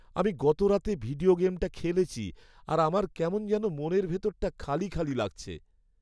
আমি গতরাতে ভিডিও গেমটা খেলেছি আর আমার কেমন যেন মনের ভিতরটা খালি খালি লাগছে।